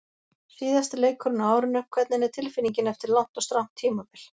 Síðasti leikurinn á árinu, hvernig er tilfinningin eftir langt og strangt tímabil?